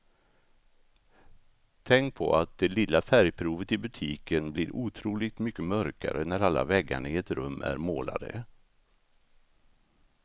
Tänk på att det lilla färgprovet i butiken blir otroligt mycket mörkare när alla väggarna i ett rum är målade.